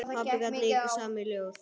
Pabbi gat líka samið ljóð.